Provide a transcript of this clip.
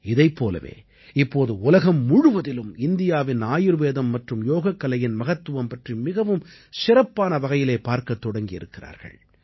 இதைப் போலவே இப்போது உலகம் முழுவதிலும் இந்தியாவின் ஆயுர்வேதம் மற்றும் யோகக்கலையின் மகத்துவம் பற்றி மிகவும் சிறப்பான வகையிலே பார்க்கத் தொடங்கி இருக்கிறார்கள்